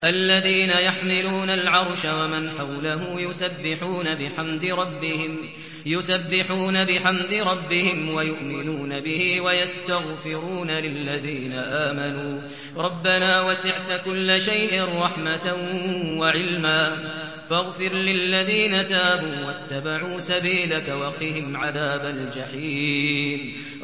الَّذِينَ يَحْمِلُونَ الْعَرْشَ وَمَنْ حَوْلَهُ يُسَبِّحُونَ بِحَمْدِ رَبِّهِمْ وَيُؤْمِنُونَ بِهِ وَيَسْتَغْفِرُونَ لِلَّذِينَ آمَنُوا رَبَّنَا وَسِعْتَ كُلَّ شَيْءٍ رَّحْمَةً وَعِلْمًا فَاغْفِرْ لِلَّذِينَ تَابُوا وَاتَّبَعُوا سَبِيلَكَ وَقِهِمْ عَذَابَ الْجَحِيمِ